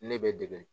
Ne bɛ dege